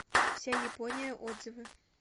вся япония отзывы